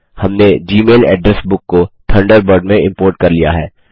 हमने Gmail address book को Thunderbird में इम्पोर्ट कर लिया है